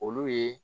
Olu ye